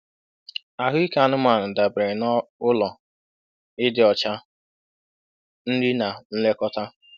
Ahụike anụmanụ dabere n'ụlọ, ịdị ọcha, nri na nlekọta.